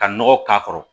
Ka nɔgɔ k'a kɔrɔ